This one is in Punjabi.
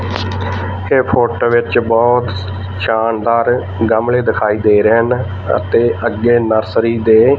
ਇਹ ਫੋਟੋ ਵਿੱਚ ਬਹੁਤ ਸ਼ਾਨਦਾਰ ਗਮਲੇ ਦਿਖਾਈ ਦੇ ਰਹੇ ਹਨ ਅਤੇ ਅੱਗੇ ਨਰਸਰੀ ਦੇ--